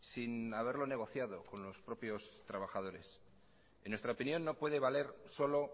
sin haberlo negociado con los propios trabajadores en nuestra opinión no puede valer solo